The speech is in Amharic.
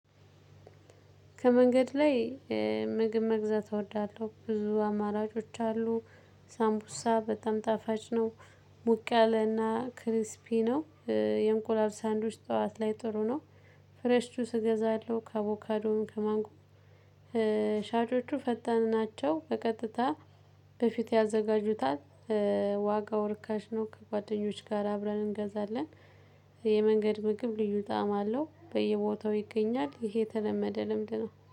ከመንገድ ላይ ምግብ መግዛት እወዳለሁ። ብዙ አማራጮች አሉ። ሳምቡሳ በጣም ጣፋጭ ነው። ሞቅ ያለና ክሪስፒ ነው። የእንቁላል ሳንዱች ጠዋት ላይ ጥሩ ነው። ፍሬሽ ጁስ እገዛለሁ ከአቦካዶም ከማንጎም። ሻጮቹ ፈጣን ናቸው በቀጥታ በፊት ያዘጋጁታል። ዋጋው ርካሽ ነው ከጓደኞች ጋር አብረን እንገዛለን። የመንገድ ምግብ ልዩ ጣዕም አለው። በየቦታው ይገኛል። ይሄ የተለመደ ልምድ ነው።